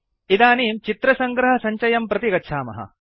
इदानीं चित्र सङ्ग्रहसञ्चयं प्रति गच्छामः